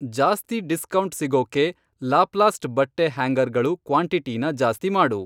ಜಾಸ್ತಿ ಡಿಸ್ಕೌಂಟ್ ಸಿಗೋಕ್ಕೆ ಲಾಪ್ಲಾಸ್ಟ್ ಬಟ್ಟೆ ಹ್ಯಾಂಗರ್ಗಳು ಕ್ವಾಂಟಿಟಿನ ಜಾಸ್ತಿ ಮಾಡು.